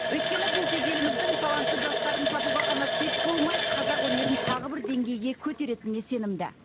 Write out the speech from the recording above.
өйткені бұл тек еліміздің талантты жастарын табуға ғана сеп болмай қазақ өнерін тағы бір деңгейге көтеретініне сенімді